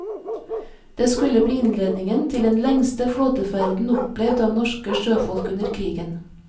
Det skulle bli innledningen til den lengste flåteferden opplevd av norske sjøfolk under krigen.